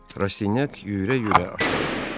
Rastinyak yüyürə-yüyürə aşağı düşdü.